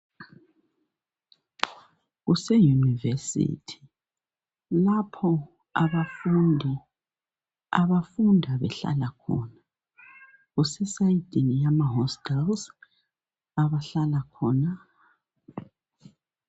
Kuseyunivesithi lapho abafundi abafunda behlala khona kuse sayidini yama hostels abahlala khona.